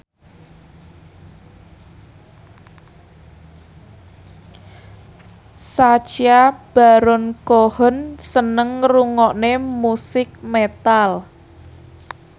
Sacha Baron Cohen seneng ngrungokne musik metal